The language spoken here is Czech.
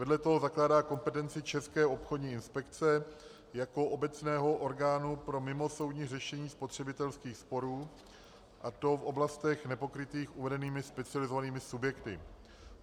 Vedle toho zakládá kompetenci České obchodní inspekce jako obecného orgánu pro mimosoudní řešení spotřebitelských sporů, a to v oblastech nepokrytých uvedenými specializovanými subjekty.